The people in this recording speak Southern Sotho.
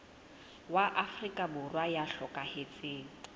wa afrika borwa ya hlokahetseng